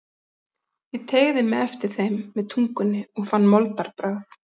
Ég teygði mig eftir þeim með tungunni og fann moldarbragð.